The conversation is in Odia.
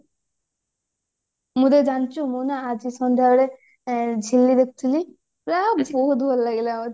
ହେଇନା ଜାଣିଛୁ ମୁଁ ନା ଆଜି ସନ୍ଧ୍ଯା ବେଳେ ଏଁ ଝିଲି ଦେଖୁଥିଲି ଏ ବହୁତ୍ ଭଲ ଲାଗିଲା ମତେ